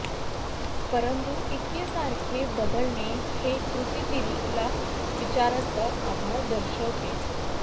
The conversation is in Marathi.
परंतु इतके सारखे बदलणे हे कृतीतील विचारांचा अभाव दर्शवते